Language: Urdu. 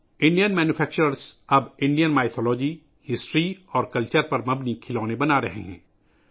بھارتی صنعت کار اب بھارتی افسانوں، تاریخ اور ثقافت پر مبنی کھلونے بنا رہے ہیں